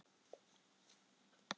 Reynistað